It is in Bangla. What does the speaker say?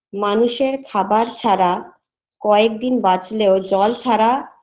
মানুষের খাবার ছাড়া কয়েক দিন বাঁচলেও জল ছাড়া